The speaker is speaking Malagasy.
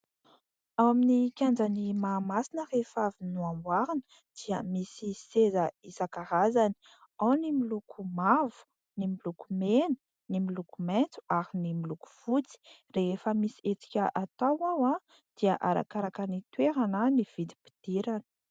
Ao amin'ny kianjan'i Mahamasina rehefa avy namboarina dia misy seza isankarazany ; ao ny miloko mavo, ny miloko mena, ny miloko maitso ary ny miloko fotsy. Rehefa misy hetsika atao ao dia arakaraky ny toerana ny vidim-pidirana.